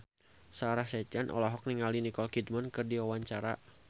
Sarah Sechan olohok ningali Nicole Kidman keur diwawancara